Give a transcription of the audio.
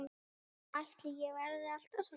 Ætli ég verði alltaf svona?